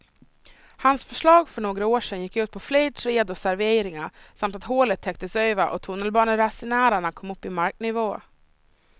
Hans förslag för några år sedan gick ut på fler träd och serveringar samt att hålet täcktes över och tunnelbaneresenärerna kom upp i marknivå.